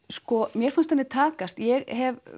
sko mér fannst henni takast ég hef